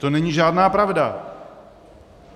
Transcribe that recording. To není žádná pravda.